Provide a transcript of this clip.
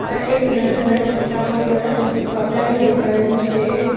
આ એક નાના છોકરાઓ ના કપડાની દુકાન છે.